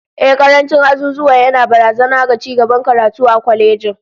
Ehh, karancin azuzuwa yana barazana ga cigaban karatu a kwalejin